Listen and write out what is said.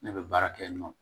Ne bɛ baara kɛ yen nɔ